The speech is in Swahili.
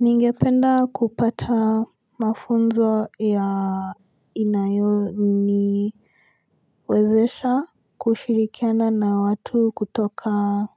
Ningependa kupata mafunzo ya inayo ni wezesha kushirikiana na watu kutoka